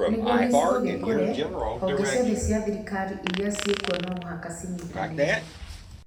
Nĩguo gĩcigo gĩkũre, honge ciothe cia thirikari iria ciĩ kuo no mũhaka ciĩnyitanĩre